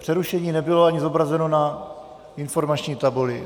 Přerušení nebylo ani zobrazeno na informační tabuli.